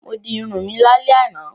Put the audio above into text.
Mo di irun mi lálẹ́ àná.